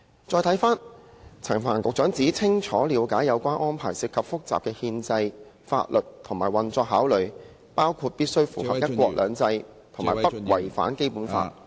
再看回陳帆局長指"清楚了解有關安排涉及複雜的憲制、法律及運作考慮，包括必須符合'一國兩制'和不違反《基本法》"......